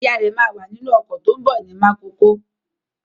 Ìyá rẹ̀ máa wà nínú ọkọ̀ tó ń bọ̀ ní Mákokó.